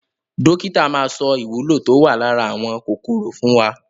Dókítà maa sọ ìwúlò tó wà lára àwọn kòkòrò fún wa.